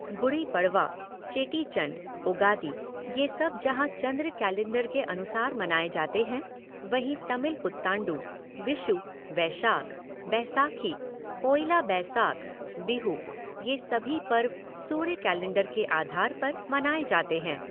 गुड़ी पड़वा, चेटीचंड, उगादि ये सब जहाँ चन्द्र कैलेंडर के अनुसार मनाये जाते हैं, वहीं तमिल पुतांडु, विषु, वैशाख, बैसाखी, पोइला बैसाख, बिहु ये सभी पर्व सूर्य कैलेंडर के आधार पर मनाए जाते हैं।